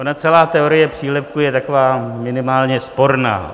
Ona celá teorie přílepku je taková minimálně sporná.